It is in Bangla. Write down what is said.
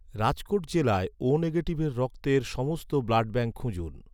রাজকোট জেলায় ও নেগেটিভের রক্তের সমস্ত ব্লাডব্যাঙ্ক খুঁজুন